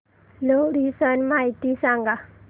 लोहरी सण माहिती सांगा